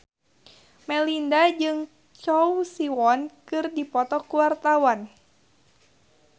Melinda jeung Choi Siwon keur dipoto ku wartawan